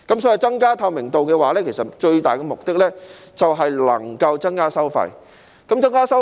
所以，增加透明度的最大目的是能夠減低收費。